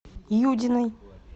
юдиной